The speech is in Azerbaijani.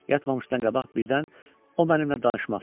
Yatmamışdan qabaq birdən o mənimlə danışmaq istədi.